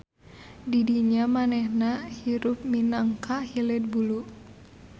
DIdinya manehna hirup minangka hileud bulu.